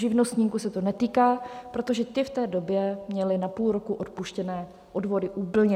Živnostníků se to netýká, protože ti v té době měli na půl roku odpuštěné odvody úplně.